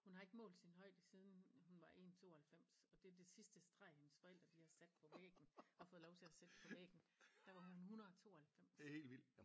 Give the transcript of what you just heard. Hun har ikke målt sin højde siden hun var 1 92 og det er det sidste streg hendes forældre de har sat på væggen har fået lov til at sætte på væggen der var hun 192